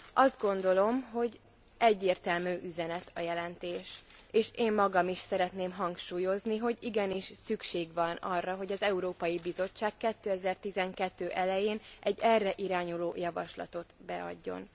Azt gondolom, hogy egyértelmű üzenet a jelentés, és én magam is szeretném hangsúlyozni, hogy igenis szükség van arra, hogy az Európai Bizottság 2012 elején egy erre irányuló javaslatot beadjon.